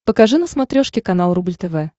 покажи на смотрешке канал рубль тв